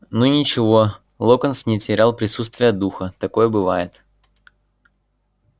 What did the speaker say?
ну ничего локонс не терял присутствия духа такое бывает